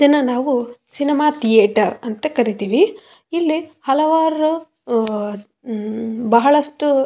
ಇದನ್ನ ನಾವು cinema theatre ಅಂತ ಕರಿತೀವಿ ಇಲ್ಲಿ ಹಲವಾರು ಹ ಬಹಳಷ್ಟು--